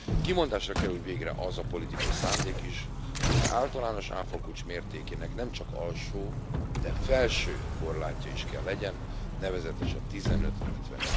Kimondásra kerül végre az a politikai szándék is, hogy az általános áfakulcs mértékének nemcsak alsó, de felső korlátja is kell legyen, nevezetesen 15 illetve